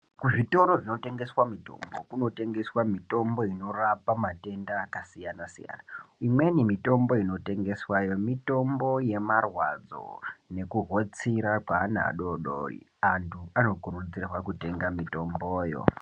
Kuzvitoro zvinotengeswa mitombo, kunotengeswa mitombo inorapa matenda akasiyana siyana .Imweni mitombo inotengeswayo mitombo yemarwadzi nekuhotsira kweana adodori. Antu anokurudzirwa kutenga mitomboyo.